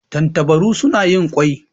Tantabaru suna yin ƙwai.